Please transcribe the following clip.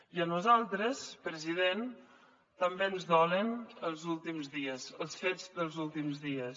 i a nosaltres president també ens dolen els últims dies els fets dels últims dies